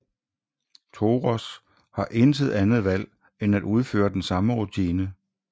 Toros har intet andet valg end at udføre den samme rutine